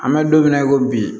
An bɛ don min na i ko bi